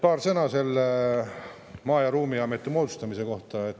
Paar sõna Maa- ja Ruumiameti moodustamise kohta.